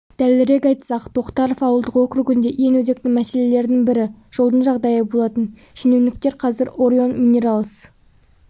дәлірек айтсақ тоқтаров ауылдық округінде ең өзекті мәселелердің бірі жолдың жағдайы болатын шенеуніктер қазір орион минералс